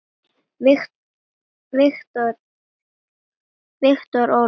Viktor Ólason.